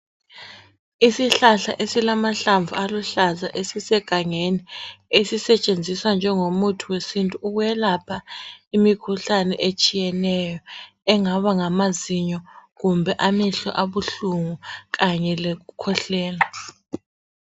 Isihlahla esilahlamvu aluhlaza esisegangeni ezisetshenziswa njengo muthi wesintu. Ukwelapha imikhuhlane etshiyeneyo engaba ngamaziyo kumbe amehlo abuhlungu kanye lokukhwehlela.